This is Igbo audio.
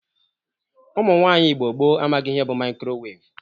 Ụmụnwaanyị Igbo gboo amaghị ihe bụ mikrowevu.